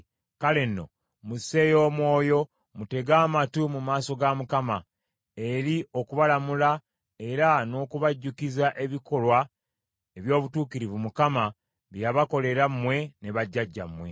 Kale nno, musseeyo omwoyo mutege amatu mu maaso ga Mukama , eri okubalamula era n’okubajjukiza ebikolwa eby’obutuukirivu Mukama bye yabakolera mmwe ne bajjajjammwe.